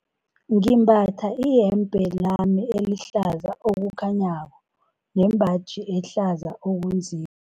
Ngimbatha iyembe lami elihlaza okukhanyako nembaji ehlaza okunzi